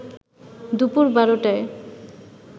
দুপুর ১২টায়